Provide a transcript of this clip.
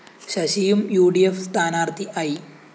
ശശിയും U D F സ്ഥാനാര്‍ഥി I